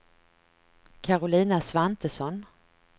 Karolina Svantesson